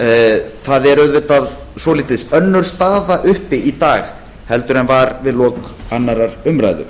að auðvitað er svolítið önnur staða er uppi í dag en var við lok annarrar umræðu